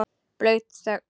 Blaut þögn.